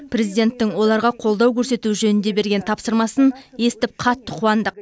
президенттің оларға қолдау көрсету жөнінде берген тапсырмасын естіп қатты қуандық